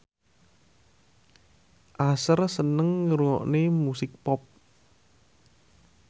Usher seneng ngrungokne musik pop